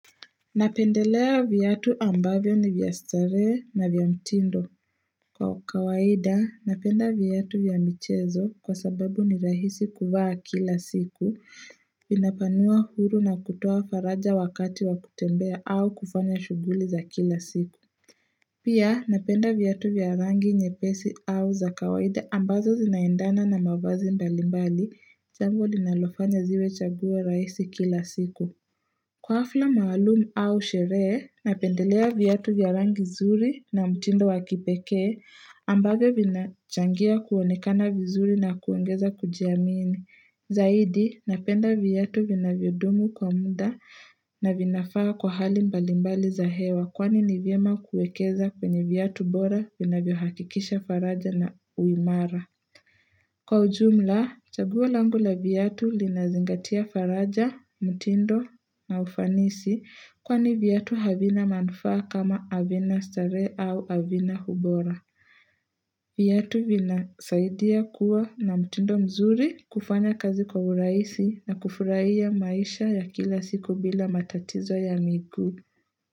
Napendelea viatu ambavyo ni vya starehe na vya mtindo Kwa kawaida napenda viatu vya michezo kwa sababu ni rahisi kuvaa kila siku vinapanua huru na kutoa faraja wakati wa kutembea au kufanya shughuli za kila siku Pia napenda viatu vya rangi nyepesi au za kawaida ambazo zinaendana na mavazi mbali mbali jambo linalofanya ziwe chaguo rahisi kila siku Kwa hafla maalumu au sherehe, napendelea viatu vya rangi zuri na mtindo wa kipekee ambavyo vinachangia kuonekana vizuri na kuongeza kujiamini. Zaidi, napenda viatu vinavyodumu kwa muda na vinafaa kwa hali mbalimbali za hewa kwani ni vyema kuekeza kwenye viatu bora vinavyohakikisha faraja na uimara. Kwa ujumla, chaguo langu la viatu linazingatia faraja, mtindo na ufanisi kwani viatu havina manufaa kama havina starehe au havina ubora. Viatu vinasaidia kuwa na mtindo mzuri kufanya kazi kwa urahisi na kufurahia maisha ya kila siku bila matatizo ya miguu.